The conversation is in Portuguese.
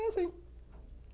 É assim.